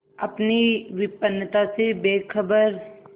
अपनी विपन्नता से बेखबर